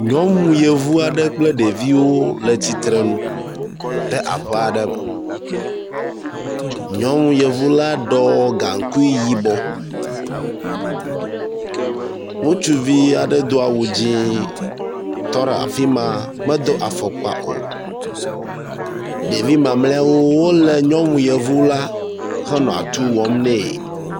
Nyɔnu yevu aɖe kple ɖeviwo le tsitre nu ɖe aƒe aɖe me, nyɔnu yevu la ɖɔ gaŋkui yibɔ. Ŋutsuvi aɖe do awu dzẽ tɔ ɖe afima medo afɔkpa o, ɖevi mamleawo wole nyɔnu yevu la henɔ atuu wɔm nɛ.